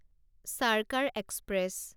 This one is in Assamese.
চাৰ্কাৰ এক্সপ্ৰেছ